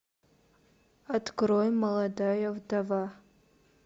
открой молодая вдова